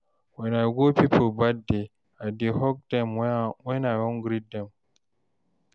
Wen I go pipo birthday, I dey hug dem wen I wan greet dem.